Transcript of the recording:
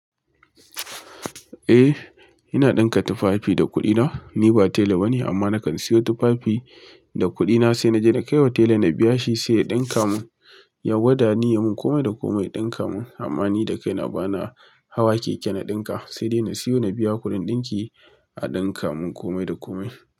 A ina ɗinka tufafi da kuɗina, ni ba tela bane amma nakan siyo tufafi da kuɗina se naje na kaiwa tela na biya shi sai ya ɗinka mun. Ya gwada ni yamin kome da kome ɗinka mun amma ni da kai na ba na hawa keke na ɗinka, sai dai na siyo na biya kuɗin ɗinki a ɗinka mun kome da kome.